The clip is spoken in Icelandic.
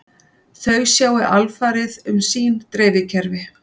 Þau sjái alfarið um sín dreifikerfi